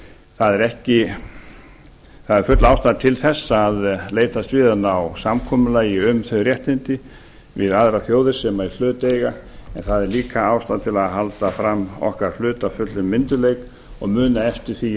það er full ástæða til þess að leitast við að ná samkomulagi um þau réttindi við aðrar þjóðir sem í hlut eiga en það er líka ástæða til að halda fram okkar hlut af fullum myndugleik og muna eftir því